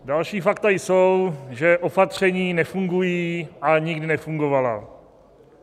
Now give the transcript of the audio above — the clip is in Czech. Další fakta jsou, že opatření nefungují, ani nikdy nefungovala.